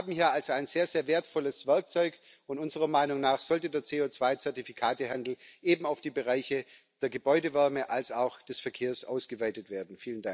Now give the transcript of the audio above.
Wir haben hier also ein sehr, sehr wertvolles Werkzeug, und unserer Meinung nach sollte der CO2 Zertifikatehandel eben auf die Bereiche sowohl der Gebäudewärme als auch des Verkehrs ausgeweitet werden.